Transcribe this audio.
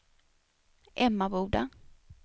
Emmaboda